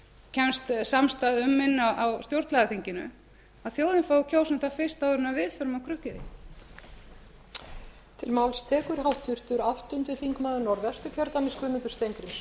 kemst samstaða um inni á stjórnlagaþinginu að þjóðin fái að kjósa um það fyrst áður en við förum að krukka í þær